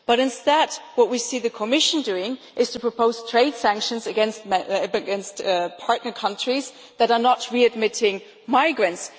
But instead, what we see the Commission doing is proposing trade sanctions against partner countries that are not readmitting migrants.